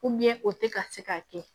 o tɛ ka se k'a kɛ